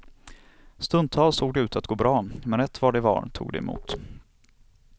Stundtals såg det ut att gå bra, men rätt vad det var tog det emot.